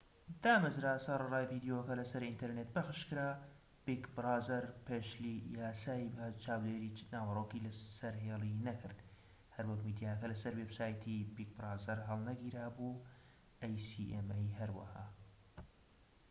هەروەها acma دامەزرا سەرەڕای ڤیدیۆکە لە سەر ئینتەرنێت پەخشکرا بیگ برازەر پێشلی یاسای چاودێری ناوەرۆکی سەرهێڵی نەکرد هەروەک میدیاکە لە سەر وێبسایتی بیگ برازەر هەڵنەگیرا بوو